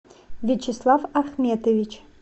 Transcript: вячеслав ахметович